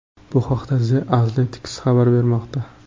Bu haqda The Athletic xabar bermoqda .